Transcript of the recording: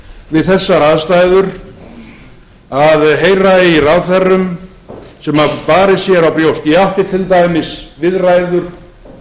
við þessar aðstæður að heyra í ráðherrum sem hafa barið sér á brjóst ég átti til dæmis viðræður